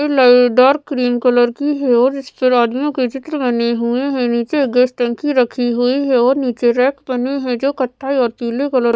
dark cream colour की है और इस पर आदमियों के चित्र बने हुए हैं नीचे गैस टंकी रखी हुई है और नीचे रैक बने हैं जो कत्थाई और पीले कलर --